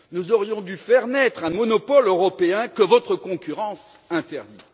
Nous aurions dû faire naître un monopole européen, que votre concurrence interdit.